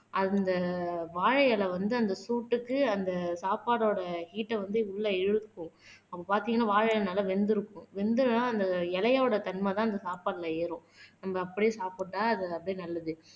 அந்த வாழை இலை வந்து அந்த சூட்டுக்கு அந்த சாப்பாடோட ஹீட்ட வந்து உள்ள இழுக்கும் அப்ப பாத்தீங்கன்னா வாழை இலை நல்லா வெந்திருக்கும் வெந்ததுன்னா அந்த இலையோட தன்மைதான் இந்த சாப்பாட்டுல ஏறும் நம்ம அப்படியே சாப்பிட்டா அது அப்படியே நல்லது.